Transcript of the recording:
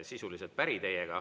Sisuliselt päri teiega.